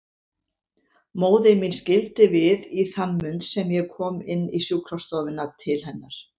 Móðir mín skildi við í þann mund sem ég kom inn í sjúkrastofuna til hennar.